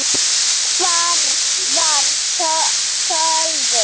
Hvar var Sölvi?